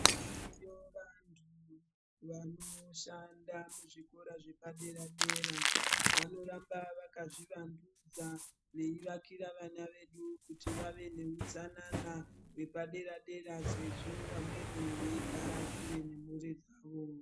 Variyo vantu vanoshanda muzvikora zvepadera-dera vanoramba vakazvivandudza veivakira vana vedu kuti vave neutsanana wepadera-dera sezvo vamweni veigara kure nemhuri dzavo.